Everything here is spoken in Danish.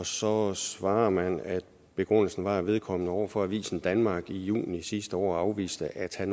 så svarer man at begrundelsen var at vedkommende over for avisen danmark i juni sidste år afviste at have